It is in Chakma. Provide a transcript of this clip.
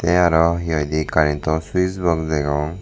te aro he hoide karento fuse bod degong.